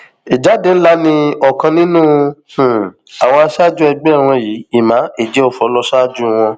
ìjáde ńlá ni ọkan nínú um àwọn aṣáájú ẹgbẹ wọn yìí emma ejiofor lọ ṣáájú um wọn